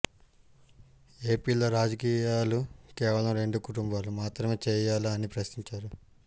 ఏపీలో రాజకీయాలు కేవలం రెండు కుటుంబాలు మాత్రమే చేయాలా అని ప్రశ్నించారు